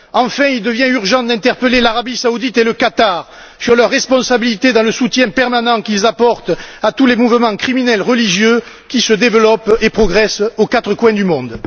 Enfin, il devient urgent d'interpeller l'Arabie Saoudite et le Qatar sur leurs responsabilités dans le soutien permanent qu'ils apportent à tous les mouvements criminels religieux qui se développent et progressent aux quatre coins du monde.